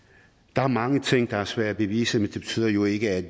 der er mange ting der er svære at bevise men det betyder jo ikke at